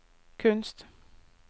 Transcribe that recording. kunst